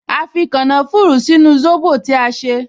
A fi kànáfùrù sínú sóbò tí a ṣe